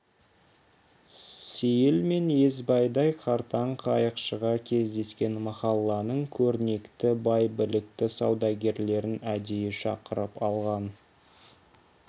сейіл мен есбайдай қартаң қайықшыға кездескен махалланың көрнекті бай білікті саудагерлерін әдейі шақырып алған